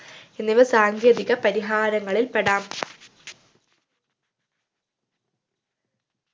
എന്നിവ സാങ്കേതിക പരിഹാരങ്ങളിൽ പെടാം